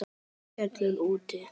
Það heyrist skellur úti.